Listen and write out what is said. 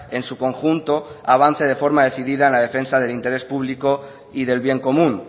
en su conjunto avance de forma decidida en la defensa del interés público y del bien común